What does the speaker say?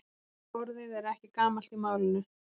Orðið er ekki gamalt í málinu.